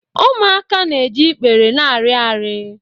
Ụmụaka na-eji ikpere na-arị arị